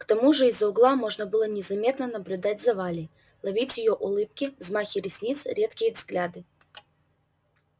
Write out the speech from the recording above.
к тому же из угла можно было незаметно наблюдать за валей ловить её улыбки взмахи ресниц редкие взгляды